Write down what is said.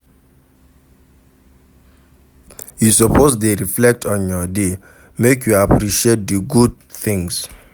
You suppose dey reflect on your day, make you appreciate di good things.